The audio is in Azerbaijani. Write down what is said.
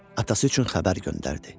Atası üçün xəbər göndərdi.